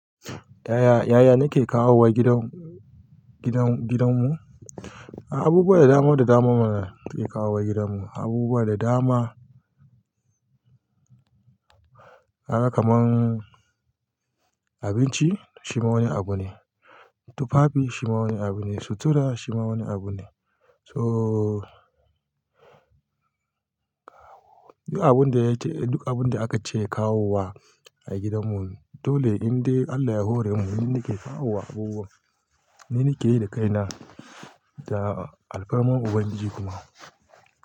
Yaya, yaya nake kawowa gidan, gidan, gidanmu? Abubuwa da dama da dama mana ke kawowa gidanmu. Abubuwa da dama. Kaga kamar abinci, shi ma wani abu ne. Tufafi shi ma wani abu ne. Sutura shi ma wani abu ne. So duk abun da ya ce, duk abun da aka ce kawowa a gidanmu. Dole indai Allah ya hore mu. Ni nake kawowa abubuwa, ni nake yi da kaina. Da alfarma Ubangiji kuma.